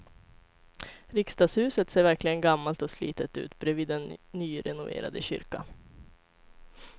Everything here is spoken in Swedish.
Riksdagshuset ser verkligen gammalt och slitet ut bredvid den nyrenoverade kyrkan.